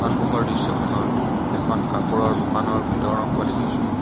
সন্মুখৰ দৃশ্যখনত এখন কাপোৰৰ দোকানৰ ভিতৰ অংশ দেখিছোঁ।